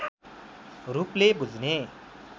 रूपले बुझ्ने